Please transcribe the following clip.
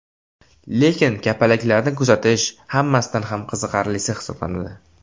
Lekin kapalaklarni kuzatish hammasidan ham qiziqarlisi hisoblanadi.